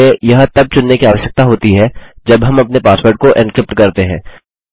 हमें यह तब चुनने की आवश्यकता होती है जब हम अपने पासवर्ड को एन्क्रिप्ट करते हैं